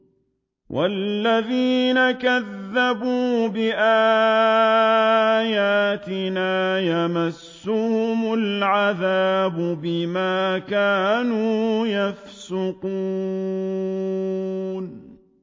وَالَّذِينَ كَذَّبُوا بِآيَاتِنَا يَمَسُّهُمُ الْعَذَابُ بِمَا كَانُوا يَفْسُقُونَ